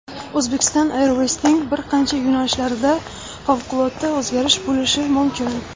Uzbekistan Airways’ning bir qator yo‘nalishlarida favqulodda o‘zgarish bo‘lishi mumkin.